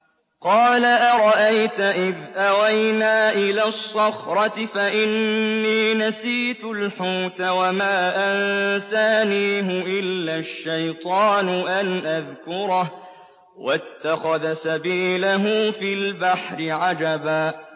قَالَ أَرَأَيْتَ إِذْ أَوَيْنَا إِلَى الصَّخْرَةِ فَإِنِّي نَسِيتُ الْحُوتَ وَمَا أَنسَانِيهُ إِلَّا الشَّيْطَانُ أَنْ أَذْكُرَهُ ۚ وَاتَّخَذَ سَبِيلَهُ فِي الْبَحْرِ عَجَبًا